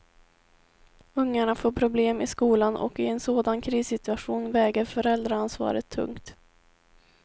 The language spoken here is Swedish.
Ungarna får problem i skolan och i en sådan krissituation väger föräldraansvaret tungt.